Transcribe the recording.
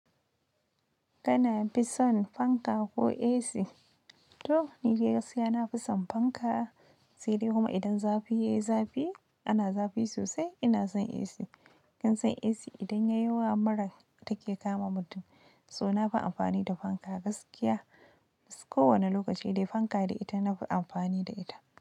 Kana fi son fanka ko AC? To, ni gaskiya na fi son fanka. Sai dai kuma idan zafi yayi zafi ana zafi sosai, ina son AC. Kinsan AC idan yayi yawa mura take kama mutum. To na fi amfani da fanka gaskiya. Ko wane lokaci dai fanka da ita na fi amfani da ita.